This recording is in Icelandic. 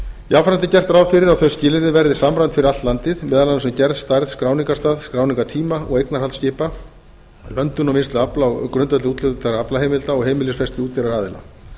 jafnframt er gert ráð fyrir að þau skilyrði verði samræmd fyrir allt landið meðal annars um gerð stærð skráningarstað skráningartíma og eignarhald skipa löndun og vinnslu afla á grundvelli úthlutaðra aflaheimilda og heimilisfesti útgerðaraðila